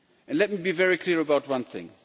Let me be very clear about one thing.